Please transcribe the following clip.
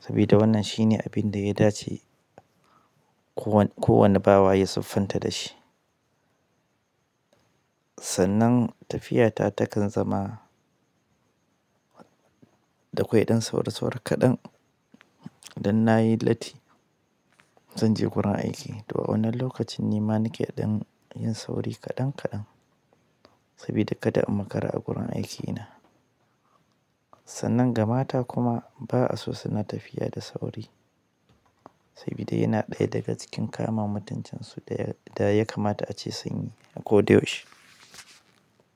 sabida wannan shine abin da ya dace kowane bawa ya siffanta da shi. Sannan tafiyata takan zama dakwai ɗan sauri sauri kaɗan, dan na yi latti, zan je wurin aiki to a wannan lokacin ni ma nake ɗan yin sauri kaɗan kaɗan, sabida kada in makara a gurin aikina. Sannan ga mata kuma ba'a so suna tafiya da sauri, sabida yana ɗaya daga cikin kama mutunci su da ya kamata ace sun yi a koda yaushe.